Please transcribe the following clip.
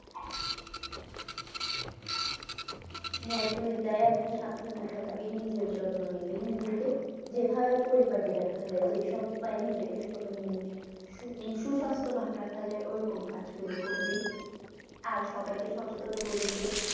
হ্যা তুই তাই এখন সাবধানে থাকবি নিজের যত্ন নিবি নিজেকে যেভাবে পরিপাটি রাখা যায় যেসব উপায়ে নিজেকে সুসাস্থবান রাখা যায় ওই রকম কাজ গুলো করবি। আর সবাইকে সচেতন করবি যে।